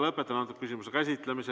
Lõpetan küsimuse käsitlemise.